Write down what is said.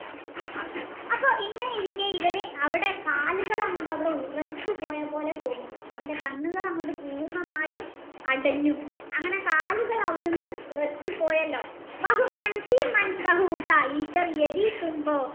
അപ്പൊ ഇങ്ങനെ ഇരിക്കെ അവൻ്റെ കാലുകൾ ഉറച്ച പോയ പോലെ അവന് തോന്നി അവൻ്റെ കണ്ണുകകൾ അങ്ങൊട് പൂർണ്ണമായും അടഞ്ഞു അങ്ങനെ കാലുകൾ അവിടിന്ന് ഉറച്ചുപോയല്ലോ